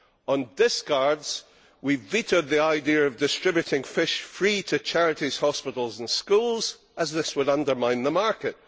On discards, we vetoed the idea of distributing fish free to charities, hospitals and schools, as this would undermine the market.